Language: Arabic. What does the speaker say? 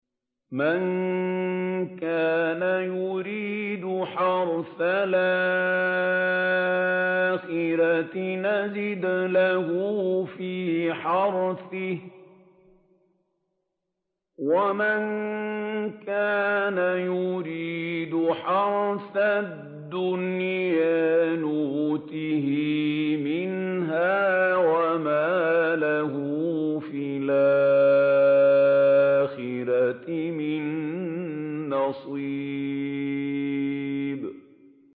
مَن كَانَ يُرِيدُ حَرْثَ الْآخِرَةِ نَزِدْ لَهُ فِي حَرْثِهِ ۖ وَمَن كَانَ يُرِيدُ حَرْثَ الدُّنْيَا نُؤْتِهِ مِنْهَا وَمَا لَهُ فِي الْآخِرَةِ مِن نَّصِيبٍ